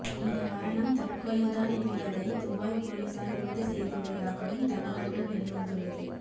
இந்த மரணம் தற்கொலை தான் என்பதை துபாய் போலீசார் உறுதி செய்துள்ளதாகவும் தகவல்கள் வெளிவந்துள்ளது